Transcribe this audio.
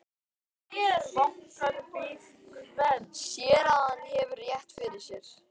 Sér að hann hefur rétt fyrir sér.